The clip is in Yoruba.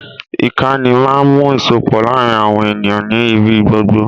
Ìkànì máa ń mú ìsopọ̀ láàrin àwọn ènìyàn nì ibí gbogbo